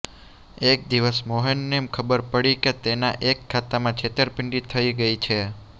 એક દિવસ મોહનને ખબર પડી કે તેના એક ખાતામાં છેતરપિંડી થઇ ગઇ છે